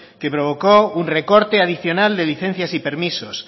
que provocó un recorte adicional de licencias y permisos